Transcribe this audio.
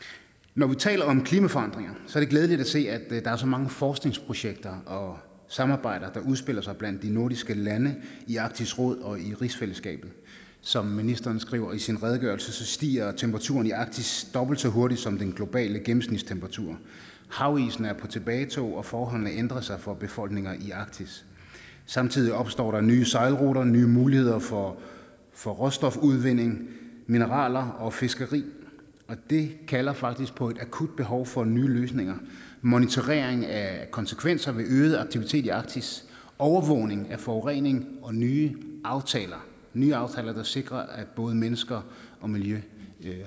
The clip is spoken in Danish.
når vi taler om klimaforandringerne er det glædeligt at se at der er så mange forskningsprojekter og samarbejder der udspiller sig blandt de nordiske lande i arktisk råd og i rigsfællesskabet som ministeren skriver i sin redegørelse stiger temperaturen i arktis dobbelt så hurtigt som den globale gennemsnitstemperatur havisen er på tilbagetog og forholdene ændrer sig for befolkninger i arktis samtidig opstår der nye sejlruter nye muligheder for for råstofudvinding mineraler og fiskeri og det kalder faktisk på et akut behov for nye løsninger monitorering af konsekvenser ved øget aktivitet i arktis overvågning af forurening og nye aftaler nye aftaler der sikrer at både mennesker og miljø